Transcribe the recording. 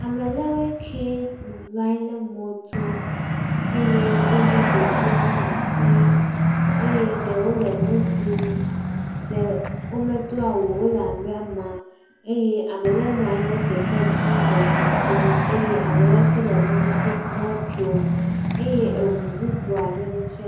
Ame le woe kee bublɔ nyi le mɔto eye wolé ɖeviwo laa sii eye ɖewo le nu ɖuum. Ɖewo medo awu o, wole amaama. Eye ame le nɔ anyi le kekedzi le kukum eye ame le tsɛ le mɔto, mɔtsom eye eŋu bubu aɖewo tsɛ.